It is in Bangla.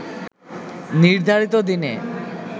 নির্ধারিত দিনে